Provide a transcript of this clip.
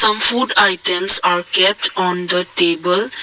food items are kept on the table.